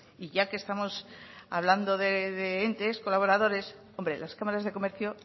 y ya que estamos hablando de entes colaboradores hombre las cámaras de comercio